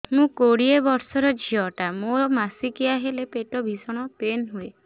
ମୁ କୋଡ଼ିଏ ବର୍ଷର ଝିଅ ଟା ମୋର ମାସିକିଆ ହେଲେ ପେଟ ଭୀଷଣ ପେନ ହୁଏ